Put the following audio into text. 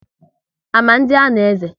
Ama ndị a na-eze?